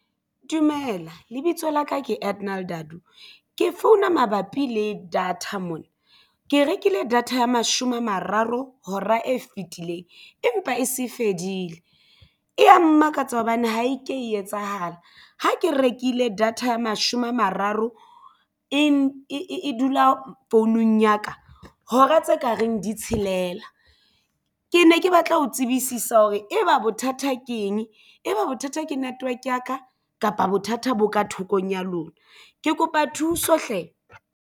Dumela lebitso la ka ke Cardinal Daartoe. Ke founa mabapi le data mona ke rekile data ya mashome a mararo hora e fetileng empa e se fedile. Ea mmakatsa hobane ha e ke e etsahala, ha ke rekile data ya mashome a mararo e dula founung ya ka hora tse ka reng di tshelela ke ne ke batla ho tsebisisa hore e ba bothata ke eng e ba bothata ke network ya ka kapa bothata bo ka thekong ya lona? Ke kopa thuso hle.